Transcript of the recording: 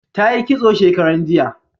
Ta yi kitso shekaran jiya